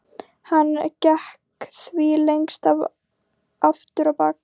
Hann gekk því lengst af aftur á bak.